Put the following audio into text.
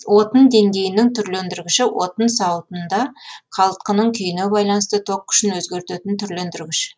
отын деңгейінің түрлендіргіші отын сауытында қалтқының күйіне байланысты ток күшін өзгертетін түрлендіргіш